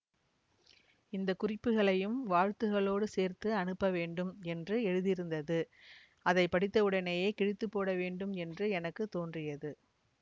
இந்த குறிப்புக்களையும் வாழ்த்துக்களோடு சேர்த்து அனுப்பவேண்டும் என்றும் எழுதியிருந்தது அதை படித்தவுடனே கிழித்துப்போடவேண்டும் என்று எனக்கு தோன்றியது